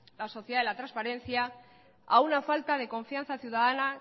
la sociedad de la transparencia a una falta de confianza ciudadana